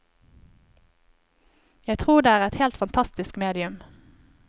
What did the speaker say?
Jeg tror det er et helt fantastisk medium.